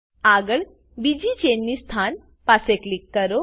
આગળ બીજી ચેન ની સ્થાન પાસે ક્લિક કરો